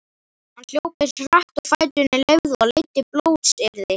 Hann hljóp eins hratt og fæturnir leyfðu og leiddi blótsyrði